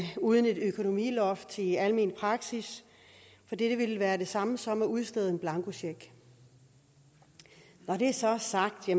uden et økonomiloft i almenpraksis for det ville være det samme som at udstede en blankocheck når det så er sagt vil